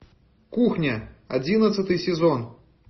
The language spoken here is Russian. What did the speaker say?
кухня одиннадцатый сезон